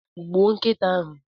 Gbuo nkịta ahu!